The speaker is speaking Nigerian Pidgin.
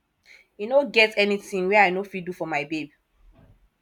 e no get anytin wey i no fit do fo my babe